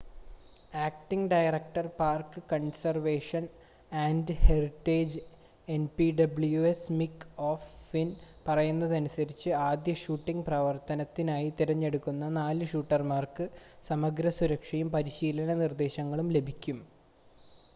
acting director park conservation and heritage NPWS Mick O'Flynn പറയുന്നതനുസരിച്ച് ആദ്യ shooting പ്രവർത്തനത്തിനായി തിരഞ്ഞെടുത്ത 4 ഷൂട്ടർമാർക്ക് സമഗ്ര സുരക്ഷയും പരിശീലന നിർദ്ദേശങ്ങളും ലഭിച്ചു